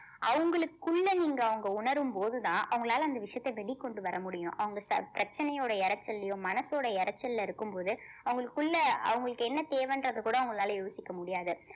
அவுங்களுக்குள்ள நீங்க அவுங்க உணரும் போதுதான் அவுங்களால அந்த விஷயத்த வெளிக்கொண்டு வர முடியும் அவுங்க பிரச்~ பிரச்சனையோட இரைச்சல்லையும் மனசோட இரைச்சல்ல இருக்கும்போது அவுங்களுக்குள்ள அவங்களுக்கு என்ன தேவைன்றத கூட அவுங்களால யோசிக்க முடியாது